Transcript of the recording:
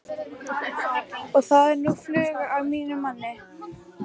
Og þá er nú flug á mínum manni.